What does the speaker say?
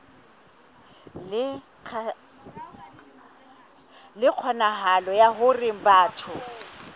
le kgonahalo ya hore batho